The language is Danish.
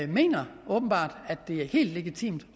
mener at det er helt legitimt